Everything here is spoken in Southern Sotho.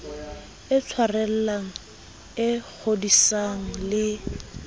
e tshwarellang e kgodisang le